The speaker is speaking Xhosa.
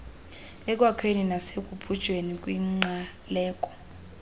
ekwakhekeni nasekubunjweni kwingqaleko